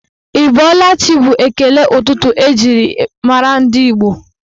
Ị bọọla chi bụ ekele ụtụtụ eji mara ndị Igbo